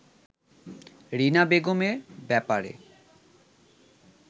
রীনা বেগম এ ব্যাপারে